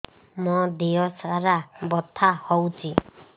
ମୋ ଦିହସାରା ବଥା ହଉଚି